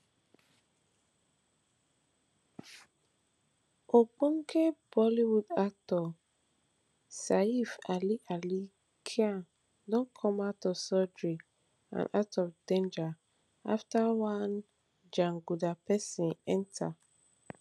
ogbonge bollywood actor saif ali ali khan don come out of surgery and out of danger afta one jaguda pesin enta